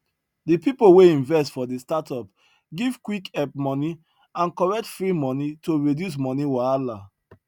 de pipo wey invest for de startup give quick help money and correct free money to reduce money wahala